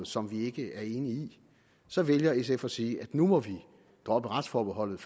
som vi ikke er enige i så vælger sf at sige at nu må vi droppe retsforbeholdet